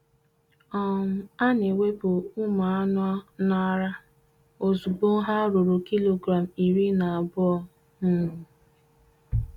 um A na-ewepụ ụmụ anụ n’ara ozugbo ha ruru kilogram iri na abụọ um